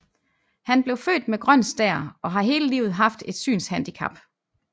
Han blev født med grøn stær og har hele livet haft et synshandicap